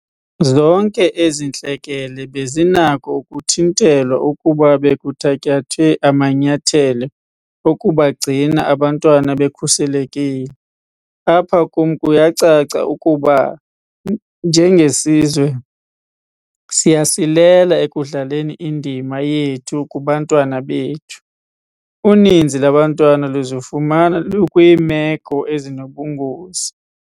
Zonke ezi ntlekele bezinako ukuthintelwa ukuba bekuthatyathwe amanyathelo okubagcina aba bantwana bekhuselekile. Apha kum kuyacaca ukuba, njengesizwe, siyasilela ekudlaleni indima yethu kubantwana bethu. Uninzi lwabantwana luzifumana lukwiimeko ezinobungozi.